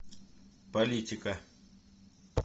политика